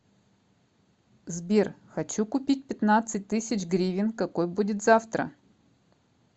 сбер хочу купить пятнадцать тысяч гривен какой будет завтра